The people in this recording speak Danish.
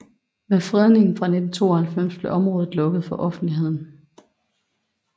Med fredningen fra 1992 blev området lukket for offentligheden